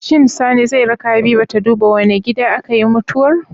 Shin Sani zai raka habiba ta duba wane gida akayi mutuwar